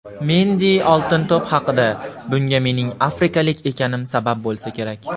Mendi "Oltin to‘p" haqida: "Bunga mening afrikalik ekanim sabab bo‘lsa kerak";.